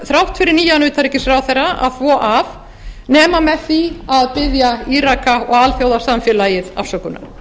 þrátt fyrir nýjan utanríkisráðherra að þvo af nema með því að biðja íraka og alþjóðasamfélagið afsökunar